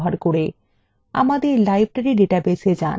আমাদের library ডাটাবেসএ যান